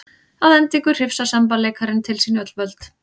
Að endingu hrifsar semballeikarinn til sín öll völd.